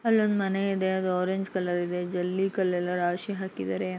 ಅಲ್ಲೊಂದು ಮನೆ ಇದೆ ಅದು ಆರೆಂಜ್ ಕಲರ್ ಇದೆ ಜಲ್ಲಿ ಕಲ್ಲೆಲ್ಲ ರಾಶಿ ಹಾಕಿದರೆ.